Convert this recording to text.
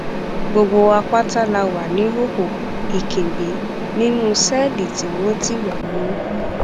gbogbo wa pátá la wà níhòòhò ìkìnbi nínú sẹẹlì tí wọn ti wá mọ